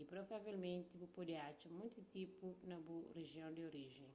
y provavelmenti bu pode atxa monti tipu na bu rijion di orijen